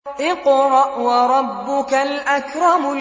اقْرَأْ وَرَبُّكَ الْأَكْرَمُ